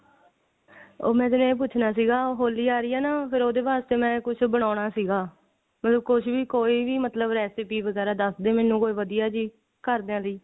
ਮੈਂ ਤੇਨੂੰ ਇਹ ਪੁੱਛਨਾ ਸੀਗਾ ਹੋਲੀ ਆ ਰਹੀ ਹੈ ਨਾ ਤਾਂ ਕਰਕੇ ਮੈਂ ਕੁੱਛ ਬਨਾਣਾ ਸੀਗਾ ਮਤਲਬ ਕੁੱਛ ਵੀ ਕੋਈ ਵੀ recipe ਵਗੇਰਾ ਦਸਦੀ ਮੈਨੂੰ ਕੋਈ ਵਧੀਆ ਜੀ ਘਰਦਿਆਂ ਦੀ